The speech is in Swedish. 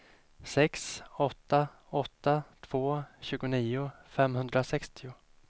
sex åtta åtta två tjugonio femhundrasextio